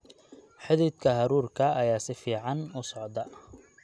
Xididka hadhuudhka ayaa si fiican u socda.